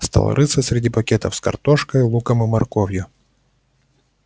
стал рыться среди пакетов с картошкой луком и морковью